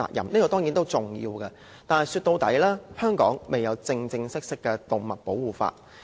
這當然重要，但是說到底香港未有正式的動物保護法。